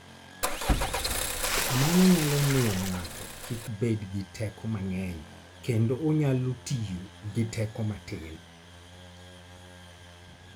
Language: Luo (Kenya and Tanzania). Mano nyalo miyo ng'ato kik bed gi teko mang'eny kendo onyalo tiyo gi teko matin.